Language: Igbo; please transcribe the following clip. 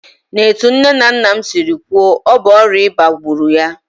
N'etu nne na nna m siri kwuo, ọ bụ ọrịa ịba gburu ya